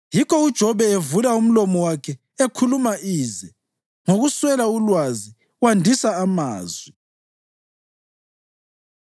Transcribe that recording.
Yikho uJobe evula umlomo wakhe ekhuluma ize; ngokuswela ulwazi wandisa amazwi.”